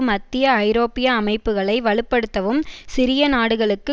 மத்திய ஐரோப்பிய அமைப்புகளை வலு படுத்தவும் சிறிய நாடுகளுக்கு